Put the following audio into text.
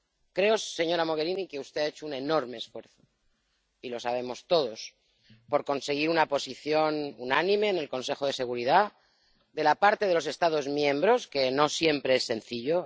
Creo, señora Mogherini, que usted ha hecho un enorme esfuerzo —y lo sabemos todos— por conseguir una posición unánime en el Consejo de Seguridad de la parte de los Estados miembros, lo que no siempre es sencillo